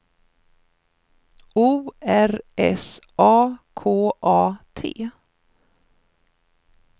O R S A K A T